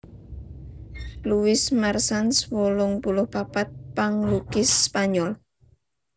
Luis Marsans wolung puluh papat panglukis Spanyol